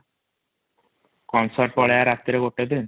ପଳେଇବା ରାତିରେ ୧ ଦିନ |